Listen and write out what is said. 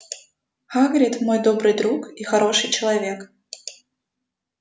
хагрид мой добрый друг и хороший человек